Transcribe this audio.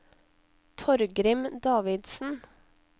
Torgrim Davidsen